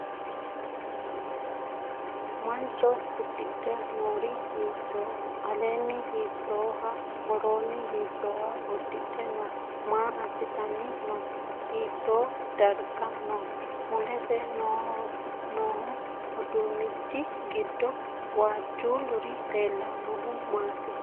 Mancho uddidhe noori hiittooho? Aleenni hiittooha? Woroonni hiittooha uddidhe no? Maa assitanni no? Hiittoo darga no? Mulese noo uduunnichi giddo waajjululuri leellannohu maati?